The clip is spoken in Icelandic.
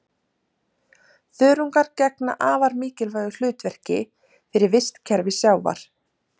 Þörungar gegna afar mikilvægu hlutverki fyrir vistkerfi sjávar.